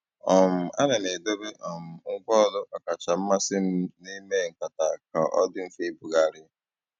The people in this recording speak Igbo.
um Àna m èdòbé um ngwá ọ́lù ọ́kàchà mmasị́ m n'ímè nkátà kà ọ dị́ mfe ìbùghàrị̀.